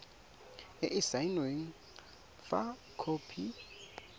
e e saenweng fa khopi